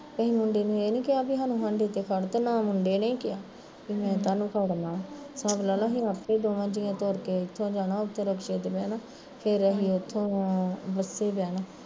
ਅੱਸੀ ਮੁੰਡੇ ਨੂੰ ਇਹ ਨੀ ਕਿਹਾ ਵਿ ਸਾਡੇ ਵਾਸਤੇ ਤੂੰ ਖੜ ਤੇ ਨਾ ਮੁੰਡੇ ਨੇ ਈ ਕਿਹਾ, ਵੀ ਮੈਂ ਤੁਹਾਨੂੰ ਖੜਨਾ ਹਿਸਾਬ ਲਾਲਾ ਆਪੇ ਦੋਵਾਂ ਜੀਆ ਨੇ ਟੂਰ ਕੇ ਏਥੋਂ ਜਾਣਾ ਤੇ ਰਿਕਸ਼ੇ ਤੇ ਬਹਿਣਾ ਫਿਰ ਅਸੀਂ ਉੱਥੋਂ ਬਸੇ ਬਹਿਣਾ